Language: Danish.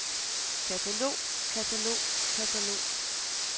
katalog katalog katalog